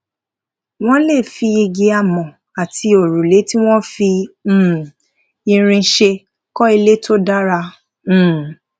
wón lè fi igi amò àti òrùlé tí wón fi um irin ṣe kó ilé tó dára um